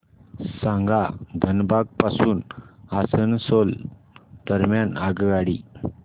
सांगा धनबाद पासून आसनसोल दरम्यान आगगाडी